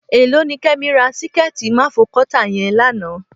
Èló ni Kẹ́mi ra síkẹ́ẹ̀tí máfogọ́tà yẹn lánàá?